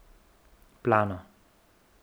Plano.